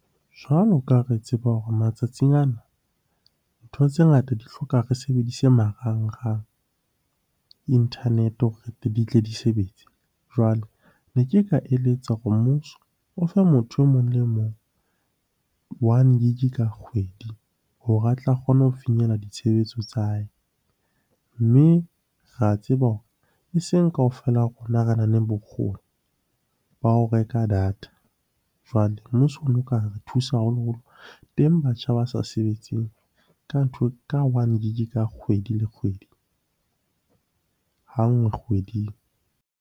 Jwalo ka re a tseba hore matsatsing ana ntho tse ngata di hloka re sebedise marangrang, internet-e hore di tle di sebetse. Jwale ne ke ka eletsa hore mmuso o fe motho emong le emong one gig ka kgwedi hore a tla kgona ho finyella ditshebetso tsa hae. Mme re a tseba hore e seng kaofela rona re na leng bokgoni ba ho reka a data. Jwale mmuso ono ka re thusa haholoholo, teng batjha ba sa sebetseng ka one gig ka kgwedi le kgwedi, ha nngwe kgweding.